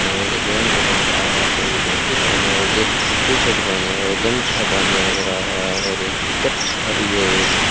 भी नजर आ रहा है जो कि धोती पहने हुए टी टी शर्ट पहने हुए और गमछा बांधे नजर रहा है और एक कच्छा लिए हुए --